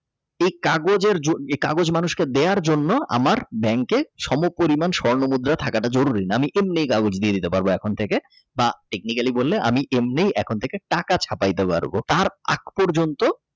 এ কাগজের জন্য এ কাগজ মানুষকে দেওয়ার জন্য আমার Bank কে সম পরিমাণ স্বর্ণমুদ্রা থাকাটা জরুরী না আমি এমনি কাগজ দিয়ে দিয়ে দিতে পারব এখন থেকে তা Technically বললে বা এমনি এখন থেকে টাকা ছাপাইতে পারব তার আজ পর্যন্ত।